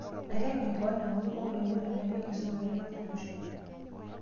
Natteng'en keon enkutuk ooloibor tenebo oenkisuma eretoto olosho